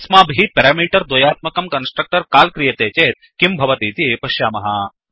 अस्माभिः पेरामीटर् द्वयात्मकं constructor call क्रियते चेत् किं भवतीति पश्यामः